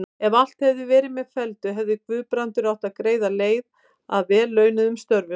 Ef allt hefði verið með felldu, hefði Guðbrandur átt greiða leið að vel launuðum störfum.